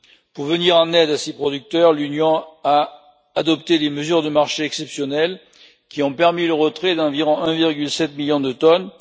Pour venir en aide à ces producteurs, l'Union a adopté des mesures de marché exceptionnelles qui ont permis le retrait d'environ 1,7 million de tonnes.